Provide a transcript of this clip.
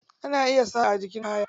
Ana iya saƙa a jikin kaya.